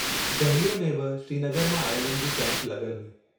दहलीअ में बि श्रीनगर मां आयलनि जी कैम्प लगल हुई।